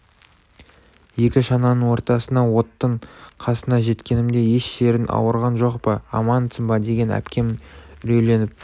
екі шананың ортасына оттың қасына жеткенімде еш жерің ауырған жоқ па амансың ба деген әпкем үрейленіп